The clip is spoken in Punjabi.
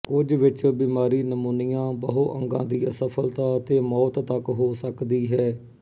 ਕੁਝ ਵਿੱਚ ਬਿਮਾਰੀ ਨਮੂਨੀਆ ਬਹੁਅੰਗਾਂ ਦੀ ਅਸਫਲਤਾ ਅਤੇ ਮੌਤ ਤੱਕ ਹੋ ਸਕਦੀ ਹੈ